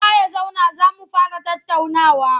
Kowa ya zauna za mu fara tattaunawa!